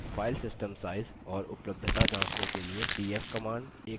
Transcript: file system size और उपलब्धता जाँचने के लिए df command